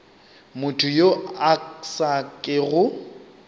motho yo a sa kego